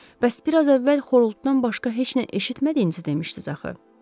Bəs biraz əvvəl xorultudan başqa heç nə eşitmədiyinizi demişdiz axı.